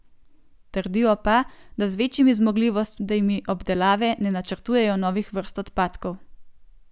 Trdijo pa, da z večjimi zmogljivostmi obdelave ne načrtujejo novih vrst odpadkov.